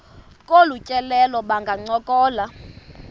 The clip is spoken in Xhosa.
kolu tyelelo bangancokola